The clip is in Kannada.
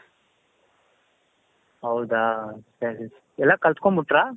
ಹೌದಾ ಸರಿ.ಎಲ್ಲಾ ಕಲ್ತ್ಕೊಂಡ್ ಬಿಟ್ರಾ?